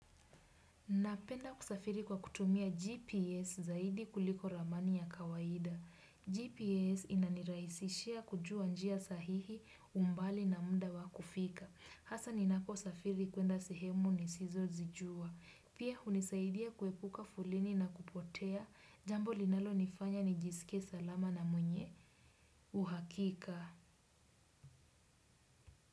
Napenda kusafiri kwa kutumia GPS zaidi kuliko ramani ya kawaida. GPS inaniraisishia kujua njia sahihi umbali na mda wa kufika. Hasa ninapo safiri kwenda sehemu ni sizo zijua. Pia hunisaidia kuepuka foleni na kupotea. Jambo linalo nifanya ni jisike salama na mwenye. Uhakika.